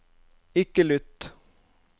ikke lytt